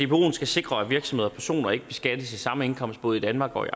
dboen skal sikre at virksomheder og personer ikke beskattes af samme indkomst både i danmark og i